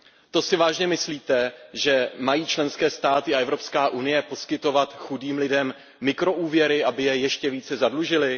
To si vážně myslíte, že mají členské státy a EU poskytovat chudým lidem mikroúvěry, aby je ještě více zadlužily?